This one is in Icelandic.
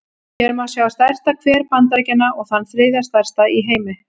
Hér má sjá stærsta hver Bandaríkjanna, og þann þriðja stærsta í heimi.